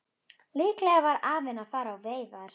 Líklega var afinn að fara á veiðar.